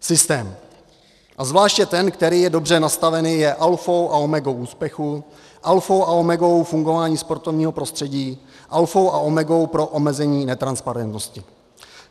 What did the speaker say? Systém, a zvláště ten, který je dobře nastaven, je alfou a omegou úspěchu, alfou a omegou fungování sportovního prostředí, alfou a omegou pro omezení netransparentnosti.